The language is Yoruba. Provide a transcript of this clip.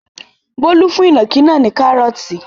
Bólú fún ìnàkí náà ní kárọ́ọ́tì.